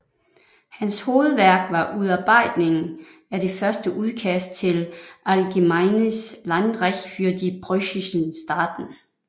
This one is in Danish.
Hans hovedværk var udarbejdningen af det første udkast til Allgemeines Landrecht für die preußischen Staaten